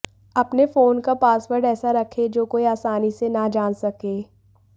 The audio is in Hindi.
अपने फोन का पासवर्ड ऐसा रखें जो कोई आसानी से ना जान सके